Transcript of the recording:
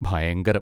ഭയങ്കരം.